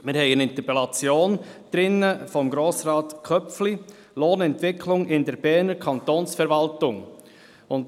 Wir haben eine Interpellation von Grossrat Köpfli, «Lohnentwicklung in der Berner Kantonsverwaltung» .